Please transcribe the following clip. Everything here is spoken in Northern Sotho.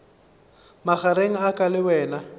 magareng a ka le wena